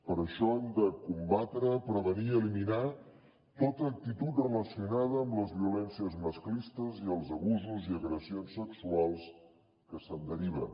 per això hem de combatre prevenir i eliminar tota actitud relacionada amb les violències masclistes i els abusos i agressions sexuals que se’n deriven